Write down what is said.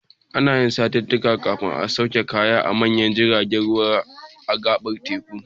Ana yin satittika kafin a sauke kaya da manyan jiraten ruwa a gaɓar teku.